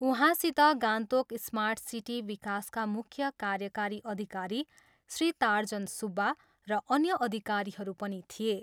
उहाँसित Gangtok smart city विकासका मुख्य कार्यकारी अधिकारी श्री तार्जन सुब्बा र अन्य अधिकारीहरू पनि थिए।